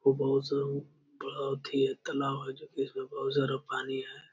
बहुत ही तालाब है जोकि इसमें बहुत सारा पानी है।